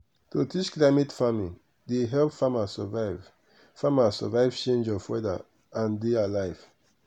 to teach climate farming dey help farmers survive farmers survive change of weather and dey alive.